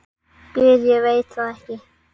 Guð, ég veit það ekki.